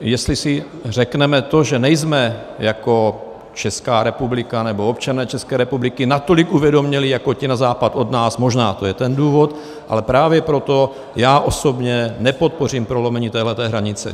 Jestli si řekneme to, že nejsme jako Česká republika nebo občané České republiky natolik uvědomělí jako ti na západ od nás, možná to je ten důvod, ale právě proto já osobně nepodpořím prolomení téhle hranice.